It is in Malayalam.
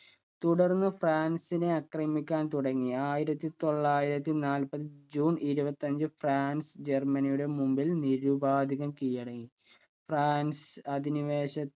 തുടർന്ന് ഫ്രാൻസിനെ ആക്രമിക്കാൻ തുടങ്ങി ആയിരത്തി തൊള്ളായിരത്തി നാൽപ്പത് ജൂൺ ഇരുപത്തിയഞ്ചു ഫ്രാൻസ് ജെർമനിയുടെ മുൻപിൽ നിരുപാതികം കീഴടങ്ങി ഫ്രാൻസ് അധിനിവേശ